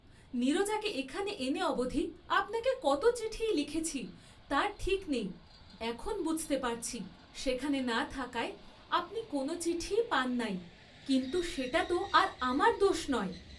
নীরজাকে এখানে এনে অবধি আপনাকে কত চিঠিই লিখেছি তার ঠিক নেই, এখন বুঝতে পারছি, সেখানে না থাকায় আপনি কোন চিঠিই পান নাই, কিন্তু সেটাত আর আমার দোষ নয়।